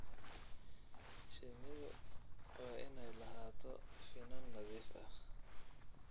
Shinnidu waa inay lahaato finan nadiif ah.